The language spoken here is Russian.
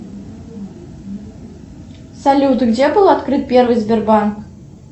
салют где был открыт первый сбербанк